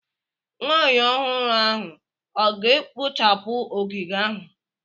Nwanyị ọhụrụ ahụ ọ ga-ekpochapụ ogige ahụ?